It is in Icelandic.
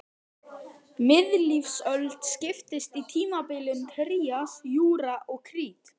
Miðlífsöld skiptist í tímabilin trías, júra og krít.